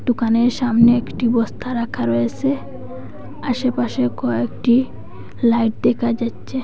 দোকানের সামনে একটি বস্তা রাখা রয়েসে আসেপাশে কয়েকটি লাইট দেখা যাচচে।